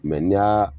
Mɛ n'i y'a